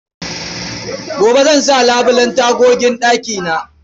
Gobe zan sa labulen tagogin ɗakina.